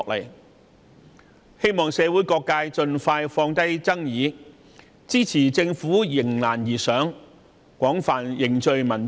我們希望社會各界盡快放下爭議，支持政府迎難而上，廣泛凝聚民意。